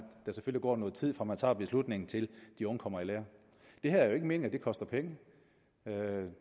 der selvfølgelig går noget tid fra man tager beslutningen til de unge kommer i lære det er jo ikke meningen koste penge